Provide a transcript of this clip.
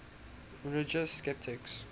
religious skeptics